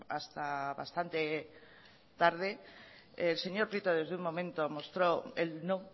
hasta bastante tarde el señor prieto desde un momento mostró el no